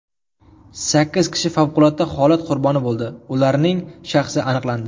Sakkiz kishi favqulodda holat qurboni bo‘ldi, ularning shaxsi aniqlandi.